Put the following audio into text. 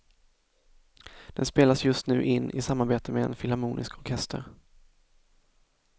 Den spelas just nu in i samarbete med en filharmonisk orkester.